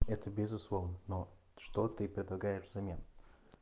это безусловно но что ты предлагаешь взамен